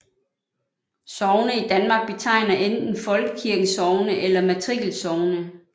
Sogne i Danmark betegner enten Folkekirkens sogne eller matrikelsogne